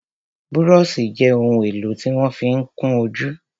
Búróṣì jẹ́ ohun èlò tí wọ́n ma fí ń kún ojú.